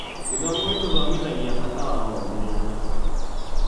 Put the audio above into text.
Gĩthomo gĩtũthomithagia bata wa ũmĩrĩria.